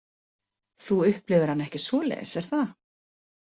Þú upplifir hana ekki svoleiðis, er það?